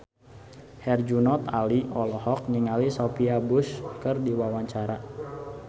Herjunot Ali olohok ningali Sophia Bush keur diwawancara